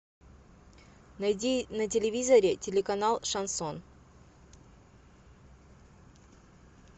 найди на телевизоре телеканал шансон